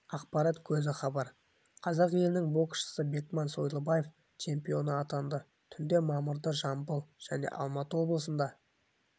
ақпарат көзі хабар қазақ елінің боксшысы бекман сойлыбаев чемпионы атанды түнде мамырда жамбыл және алматы облысында